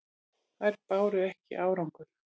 Þær báru ekki árangur.